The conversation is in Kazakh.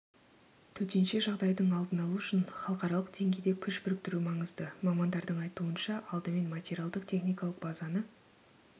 төтенше жағдайдың алдын алу үшін халықаралық деңгейде күш біріктіру маңызды мамандардың айтуынша алдымен материалдық-техникалық базаны